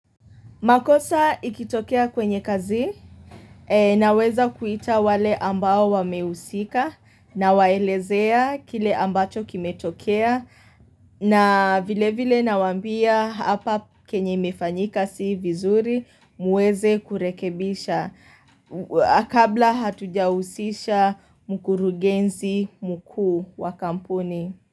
Makosa ikitokea kwenye kazi na weza kuita wale ambao wamehusika na waelezea kile ambacho kimetokea na vile vile na wambia hapa kenye imefanyika si vizuri muweze kurekebisha. Akabla hatujahusisha mkurugenzi mkuu wa kampuni.